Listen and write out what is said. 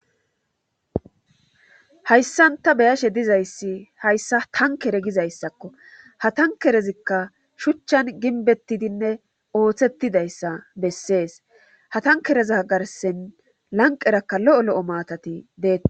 Hayssan ta beyashe dizzaysi hayssa tankere gizayssakko ha tankerizikka shuchan ginbetidinne osetidayssa besses ha ta.kereta garssan lanqeraka lo'o lo'o matati bet..